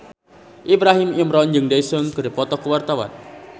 Ibrahim Imran jeung Daesung keur dipoto ku wartawan